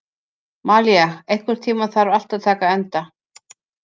Malía, einhvern tímann þarf allt að taka enda.